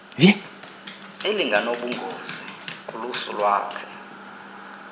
elinganobungozi kulusu lwakhe